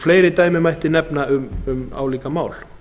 fleiri dæmi mætti nefna um álíka mál